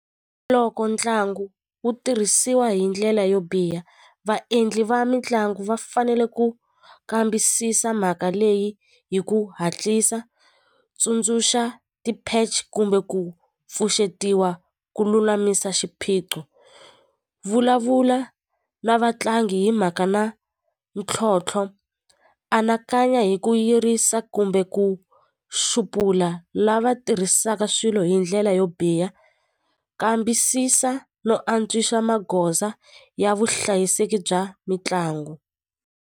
Loko ntlangu wu tirhisiwa hi ndlela yo biha vaendli va mitlangu va fanele ku kambisisa mhaka leyi hi ku hatlisa tsundzuxa ti-patch kumbe ku pfuxetiwa ku lulamisa xiphiqo vulavula na vatlangi hi mhaka na ntlhontlho anakanya hi ku yirisa kumbe ku xupula lava tirhisaka swilo hi ndlela yo biha kambisisa no antswisa magoza ya vuhlayiseki bya mitlangu.